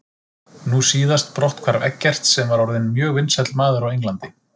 Nú síðast brotthvarf Eggerts sem var orðinn mjög vinsæll maður á Englandi.